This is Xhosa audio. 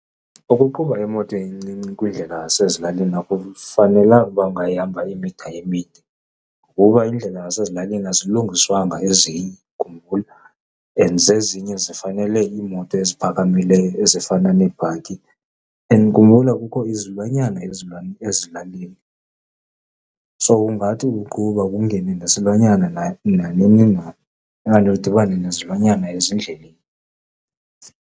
Ukuqhuba imoto encinci kwiindlela zasezilalini akufanelanga uba ungayihamba emida emide ngoba iindlela zasezilalini azilungiswanga ezinye, khumbula and zezinye zifanele iimoto eziphakamileyo ezifana neebhaki. And khumbula kukho izilwanyana ezilalini. So, ungathi uqhuba kungene nesilwanyana nanini na okanye udibane nezilwanyana ezindleleni.